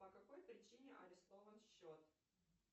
по какой причине арестован счет